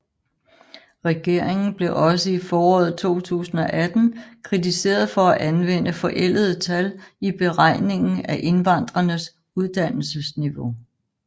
Regeringen blev også i foråret 2018 kritiseret for at anvende forældede tal i beregningen af indvandrernes uddannelsesniveau